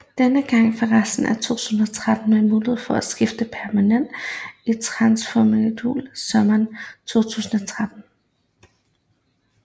Denne gang for resten af 2013 med mulighed for at skifte permanent i transfervinduet sommeren 2013